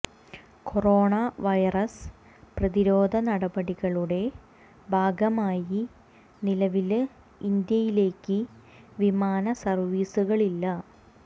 corona virus പ്രതിരോധ നടപടികളുടെ ഭാഗമായി നിലവില് ഇന്ത്യയിലേക്ക് വിമാന സര്വീസുകളില്ല